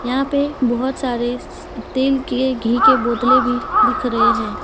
यहां पे बहुत सारे तेल के घी के बोतले भी दिख रहे हैं।